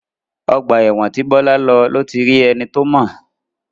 Ọgbà ẹ̀wọ̀n tí Bọ́lá lọ ló ti rí ẹni tí ó mọ̀.